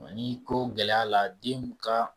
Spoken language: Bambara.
Nka n'i ko gɛlɛya la den ka